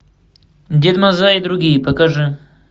дед мазай и другие покажи